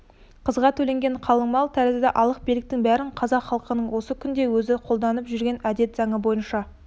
қызға төленген қалыңмал тәрізді алық-беріктің бәрін қазақ халқының осы күнде өзі қолданып жүрген әдет заңы бойынша